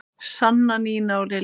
Sanna, Nína og Lilja.